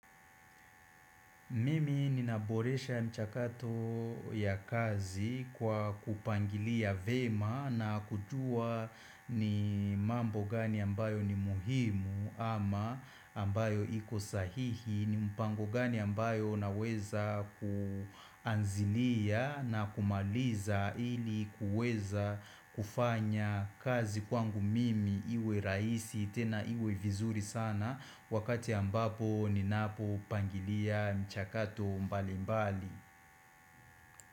Mimi ninaboresha mchakato ya kazi kwa kupangilia vyema na kujua ni mambo gani ambayo ni muhimu ama ambayo iko sahihi ni mpango gani ambayo naweza kuanzilia na kumaliza ili kuweza kufanya kazi kwangu mimi iwe rahisi tena iwe vizuri sana Wakati ambapo ninapopangilia mchakato mbali mbali.